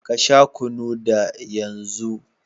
Ka Sha kunu d yan zu.